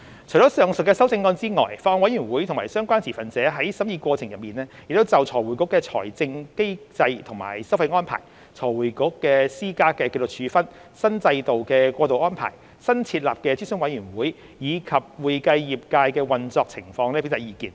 除上述的修正案外，法案委員會及相關持份者在審議過程中亦就財匯局的財政機制和收費安排、財匯局施加的紀律處分、新制度的過渡安排、新設立的諮詢委員會，以及會計業界的運作情況表達意見。